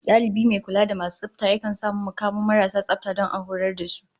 Dalibi mai kula da tsafta yakan sa mu mu kamo marasu tsafta don a horas da su